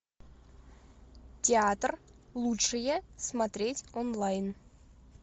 театр лучшее смотреть онлайн